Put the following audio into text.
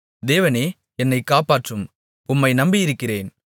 தேவனே என்னைக் காப்பாற்றும் உம்மை நம்பியிருக்கிறேன்